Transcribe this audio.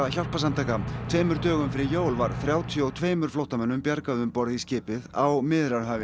hjálparsamtaka tveimur dögum fyrir jól var þrjátíu og tveimur flóttamönnum bjargað um borð í skipið á Miðjarðarhafi